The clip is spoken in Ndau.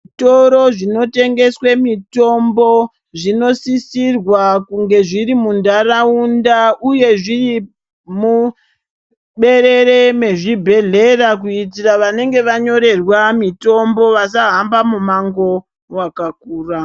Zvitoro zvinotengeswa mitombo zvinosisirwa kunge zvirimunharaunda uye zvirimuberere mezvibhlera kuitira vanenge vanyorerwa mitombo vasahamba mumango wakakura